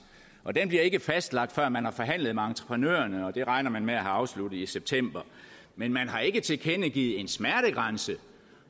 og den bliver ikke fastlagt før man har forhandlet med entreprenørerne og det regner man med at have afsluttet i september men man har ikke tilkendegivet en smertegrænse